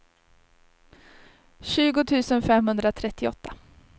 tjugo tusen femhundratrettioåtta